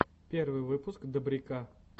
первый выпуск добряка